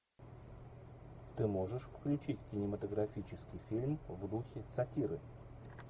ты можешь включить кинематографический фильм в духе сатиры